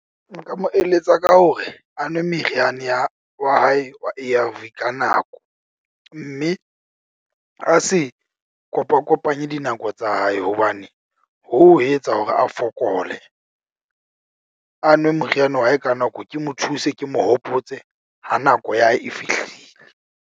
Nka mo eletsa ka hore a nwe meriana ya wa hae wa A_R_V ka nako. Mme a se kopa kopanye dinako tsa hae, hobane hoo ho etsa hore a fokole. A nwe moriana wa hae ka nako, ke mo thuse, ke mo hopotse ha nako ya hae e fihlile.